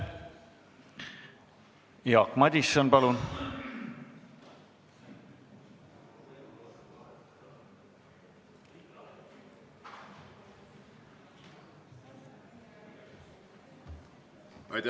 Jaak Madison, palun!